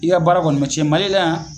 I ka baara kɔnɔ mɛ cɛn Mali la yan ?